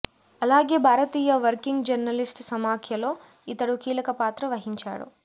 అలాగే భారతీయ working journalist సమాఖ్యలో ఇతడు కీలక పాత్ర వహించాడు